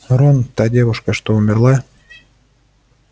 рон та девушка что умерла